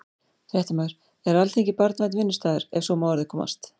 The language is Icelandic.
Fréttamaður: Er Alþingi barnvænn vinnustaður, ef svo má að orði komast?